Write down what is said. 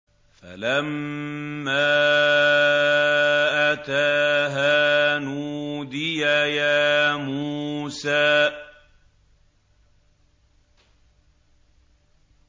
فَلَمَّا أَتَاهَا نُودِيَ يَا مُوسَىٰ